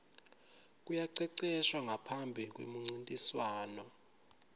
kuyaceceshwa ngaphambi kwemuncintiswano